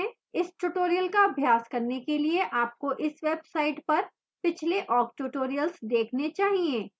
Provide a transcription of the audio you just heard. इस tutorial का अभ्यास करने के लिए आपको इस website पर पिछले awk tutorials देखने चाहिए